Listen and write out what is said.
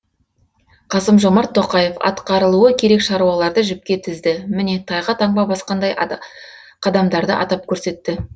қасым жомарт тоқаев атқарылуы керек шаруаларды жіпке тізді міне тайға таңба басқандай қадамдарды атап көрсетті